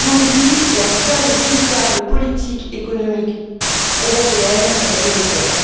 Aujourd'hui, la seule véritable politique économique européenne est monétaire.